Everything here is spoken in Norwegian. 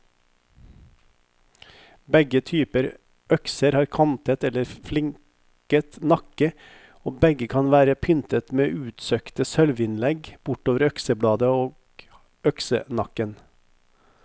Begge typer økser har kantet eller fliket nakke, og begge kan være pyntet med utsøkte sølvinnlegg bortover øksebladet og øksenakken.